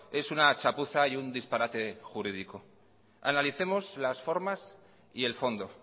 es una chapuza y un disparate jurídico analicemos las formas y el fondo